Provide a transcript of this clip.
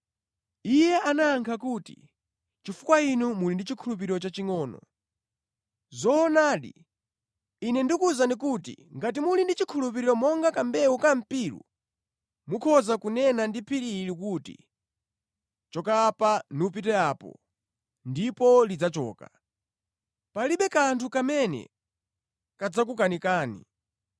Iye anayankha kuti, “Chifukwa inu muli ndi chikhulupiriro chachingʼono. Zoonadi, Ine ndikuwuzani kuti ngati muli ndi chikhulupiriro monga kambewu ka mpiru, mukhoza kunena ndi phiri ili kuti, ‘Choka apa nupite apo,’ ndipo lidzachoka. Palibe kanthu kamene kadzakukanikani.